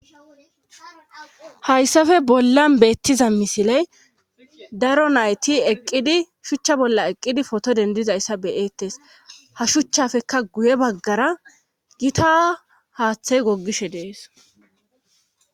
Hayssafe bollan beettiza misiley daro nayti eqqidi shuchcha bolla eqqidi poto dendizayssa beyeettes ha shuchchafekka guye baggara gita haaththey gogishe dees